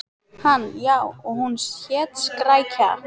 Hann: Já, og hún hét Skrækja.